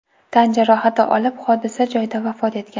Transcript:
tan jarohati olib, hodisa joyda vafot etgan.